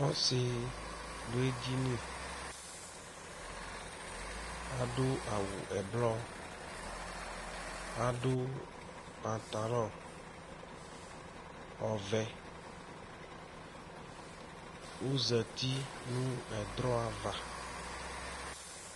Ɔsɩ ɖʋ eɖini, aɖʋ awʋ ɛblɔ, aɖʋ patalɔ ɔvɛ, ozati nʋ ɛɖrɔ ava